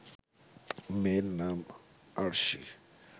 মেয়ের নাম আরশি